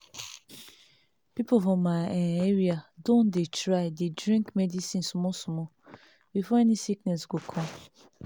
people for my[um]area don dey try dey drink medicine small small before any sickness go come